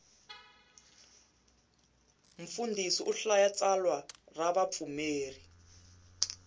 mfundhisi u hlaya tsalwa ra vapfumeri